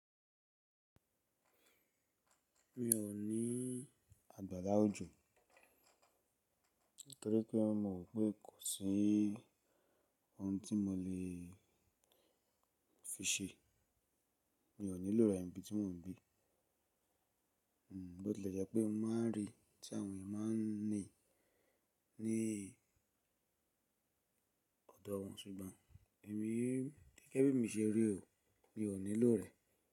Mi ò ní àgbàrá ojò, nítorí pé mò mọ̀ pé kò sí ohun tí mo lè fi ṣe. Mi ò nílò rẹ̀ níbi tí mò ń gbe Bó tilẹ̀ jẹ́ pé mo máa ń rí tí àwọn èèyàn máa ń ní ní ọ̀dọ̀ wọn, ṣùgbọ́n èmi, gẹ́gẹ́ bí mi se rí ò, mi ò nílò rẹ̀